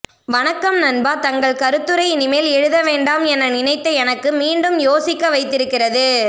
வணக்கம் நண்பா தங்கள் கருத்துரை இனிமேல் எழுதவேண்டாம் என நினைத்த எனக்கு மீண்டும் யோசிக்க வைத்திருக்கிறது